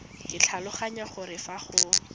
ke tlhaloganya gore fa go